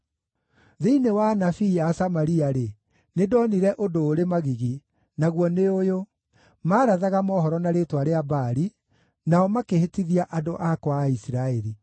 “Thĩinĩ wa anabii a Samaria-rĩ, nĩndonire ũndũ ũrĩ magigi, naguo nĩ ũyũ: Maarathaga mohoro na rĩĩtwa rĩa Baali, nao makĩhĩtithia andũ akwa a Isiraeli.